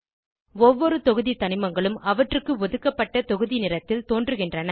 ஒவ்வொரு தொகுதி தனிமங்களும் அவற்றுக்கு ஒதுக்கப்பட்ட தொகுதி நிறத்தில் தோன்றுகின்றன